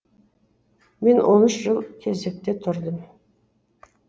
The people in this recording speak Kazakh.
мен он үш жыл кезекте тұрдым